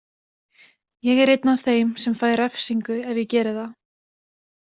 Ég er einn af þeim sem fæ refsingu ef ég geri það.